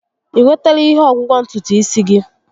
I nwetala ihe ọgwụgwọ ntutu isi gị?